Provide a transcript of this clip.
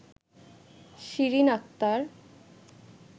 Shirin Akter